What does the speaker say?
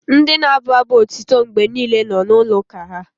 Ndị na-abụ abụ otito mgbe niile na-ụlọ uka ​​ha